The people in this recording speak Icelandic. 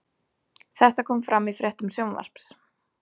Þetta kom fram í fréttum Sjónvarps